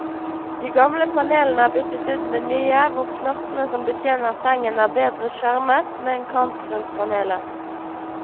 De gamle panelene er byttet ut med nye, hvor knottene som betjener sengen er bedre skjermet, med en kant rundt panelet.